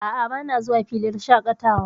A'a, bana zuwa filin shaƙatawa.